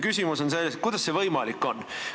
Küsimus on selles, kuidas see võimalik on.